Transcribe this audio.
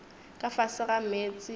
ka fase ga meetse a